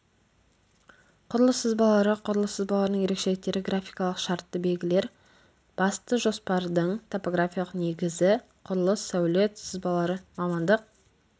құрылыс сызбалары құрылыс сызбаларының ерекшеліктері графикалық шартты белгілер басты жоспардың топографиялық негізі құрылыс сәулет сызбалары мамандық